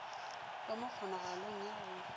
ba mo kgonagalong ya go